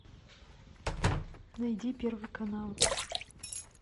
найди первый канал